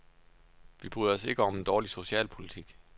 Vi bryder os ikke om en dårlig socialpolitik.